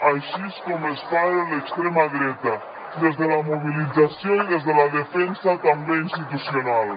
així és com es para l’extrema dreta des de la mobilització i des de la defensa també institucional